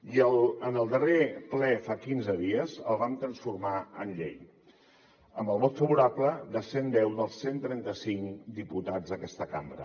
i en el darrer ple fa quinze dies el vam transformar en llei amb el vot favorable de cent deu dels cent i trenta cinc diputats d’aquesta cambra